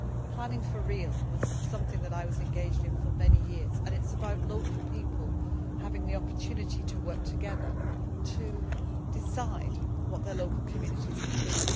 Planning for Real' was something in which I was engaged for many years, and it is about local people having the opportunity to work together to decide what their local communities will